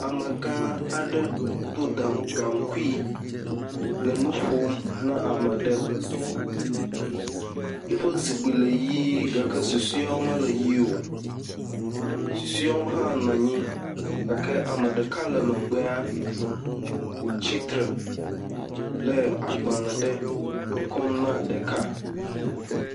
megã ɖe dó gaŋkuyi le nuƒom na ameɖe yiƒe zikpi le yi gake susoewo mele yi o, susoewo hã nɔanyi gake ameɖeka le megbea tsitre le agbalē ɖe kɔm na ɖeka